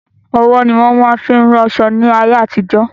Ọwọ́ ni wọn máa fin ún ran aṣọ ní ayé àtijó.